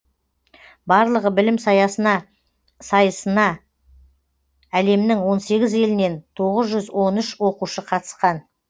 барлығы білім саясына сайысына әлемнің он сегіз елінен тоғыз жүз он үш оқушы қатысқан